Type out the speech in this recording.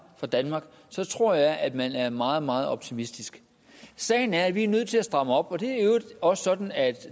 fra danmark så tror jeg at man er meget meget optimistisk sagen er at vi er nødt til at stramme op og det er i øvrigt også sådan at